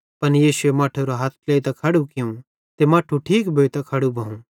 पन यीशुए मट्ठेरो हथ ट्लेइतां खड़ू कियूं ते मट्ठू ठीक भोइतां खड़ू भोवं